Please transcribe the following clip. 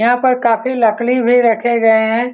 यहाँ पर काफी लकड़ी भी रखे गए हैं।